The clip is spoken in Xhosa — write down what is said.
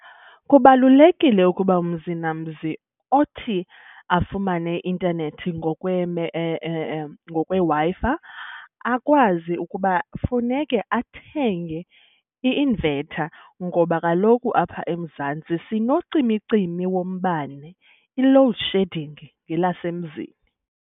Kubalulekile ukuba mzi namzi othi afumane i-intanethi ngokweWi-Fi akwazi ukuba funeke athenge i-inverter ngoba kaloku apha eMzantsi sinocimicimi wombane, i-load shedding ngelasemzini.